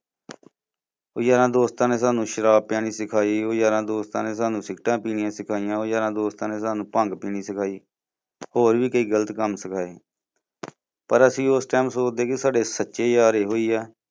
ਉਹ ਯਾਰਾਂ ਦੋਸਤਾਂ ਨੇ ਸਾਨੂੰ ਸ਼ਰਾਬ ਪੀਣੀ ਸਿਖਾਈ, ਉਹ ਯਾਰਾਂ ਦੋਸਤਾਂ ਨੇ ਸਾਨੂੰ ਸਿਗਰੇਟਤਾ ਪੀਣੀਆਂ ਸਿਖਾਈਆਂ, ਉਹ ਯਾਰਾਂ ਦੋਸਤਾਂ ਨੇ ਸਾਨੂੰ ਭੰਗ ਪੀਣੀ ਸਿਖਾਈ, ਹੋਰ ਵੀ ਕਈ ਗਲਤ ਕੰਮ ਸਿਖਾਏ ਪਰ ਅਸੀਂ ਉਸ time ਸੋਚਦੇ ਸੀ ਕਿ ਸਾਡੇ ਸੱਚੇ ਯਾਰ ਇਹੋ ਹੀ ਆ।